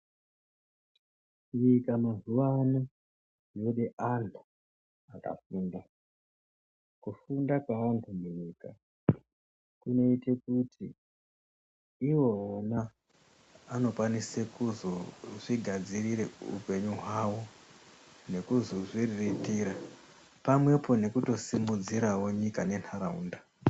Nyika mazuvaano yode anhu vakafunda ,kufunda kwavakunoita kunoite kuti ivo vana anokwanise kuzozvigadzirire hupenyu hwavo nekuzozviriritira pamwepo nekutosimudzirawonyika nentaraunda.